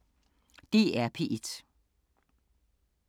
DR P1